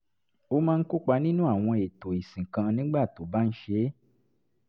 ó máa ń kópa nínú àwọn èètò ìsìn kan nígbà tó bá ń ṣe é